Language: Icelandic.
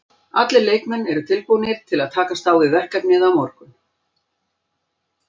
Allir leikmenn eru tilbúnir til að takast á við verkefnið á morgun.